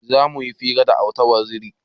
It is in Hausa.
Zamuyi hira da auta waziri